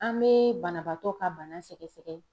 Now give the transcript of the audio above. An bɛ banabaatɔ ka bana sɛgɛsɛgɛ.